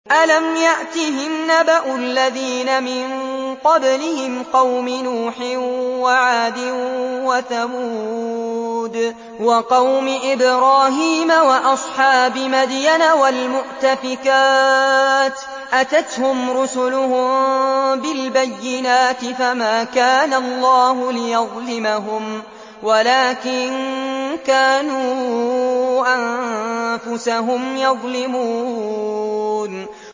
أَلَمْ يَأْتِهِمْ نَبَأُ الَّذِينَ مِن قَبْلِهِمْ قَوْمِ نُوحٍ وَعَادٍ وَثَمُودَ وَقَوْمِ إِبْرَاهِيمَ وَأَصْحَابِ مَدْيَنَ وَالْمُؤْتَفِكَاتِ ۚ أَتَتْهُمْ رُسُلُهُم بِالْبَيِّنَاتِ ۖ فَمَا كَانَ اللَّهُ لِيَظْلِمَهُمْ وَلَٰكِن كَانُوا أَنفُسَهُمْ يَظْلِمُونَ